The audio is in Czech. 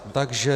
Takže -